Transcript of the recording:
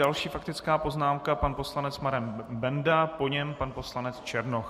Další faktická poznámka - pan poslanec Marek Benda, po něm pan poslanec Černoch.